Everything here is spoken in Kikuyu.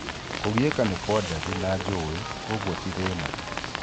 Kũgieka ni gwa ndathĩ na njũũi koguo ti thina